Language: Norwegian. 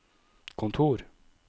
kontor